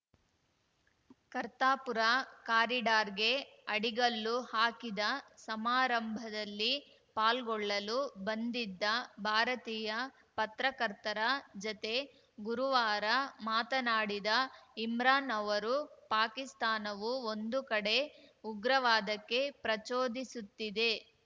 ಕರ್ತಾರ್‌ಪುರ ಕಾರಿಡಾರ್‌ಗೆ ಅಡಿಗಲ್ಲು ಹಾಕಿದ ಸಮಾರಂಭದಲ್ಲಿ ಪಾಲ್ಗೊಳ್ಳಲು ಬಂದಿದ್ದ ಭಾರತೀಯ ಪತ್ರಕರ್ತರ ಜತೆ ಗುರುವಾರ ಮಾತನಾಡಿದ ಇಮ್ರಾನ್‌ ಅವರು ಪಾಕಿಸ್ತಾನವು ಒಂದು ಕಡೆ ಉಗ್ರವಾದಕ್ಕೆ ಪ್ರಚೋದಿಸುತ್ತಿದೆ